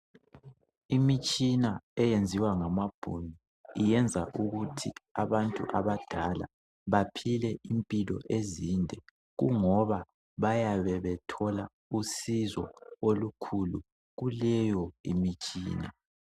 Imitshina eyenziwa ngamaBhunu, yenza ukuthi abantu abadala baphile impilo ezinde, kungoba bayabe bethola usizo olukhulu. Kuleyomitshina.